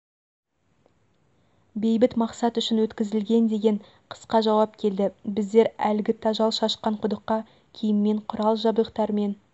бейбіт мақсат үшін өткізілген деген қысқа жауап келді біздер әлгі тажал шашқан құдыққа киіммен құрал жабдықтармен